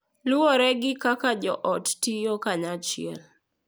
luwore gi kaka joot tiyo kanyachiel,